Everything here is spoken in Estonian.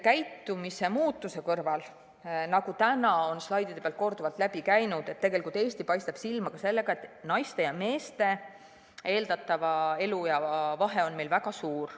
Käitumise muutumise kõrval, nagu täna on slaidide pealt korduvalt läbi käinud, paistab Eesti silma ka sellega, et naiste ja meeste eeldatava eluea vahe on meil väga suur.